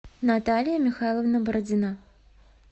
наталья михайловна бородина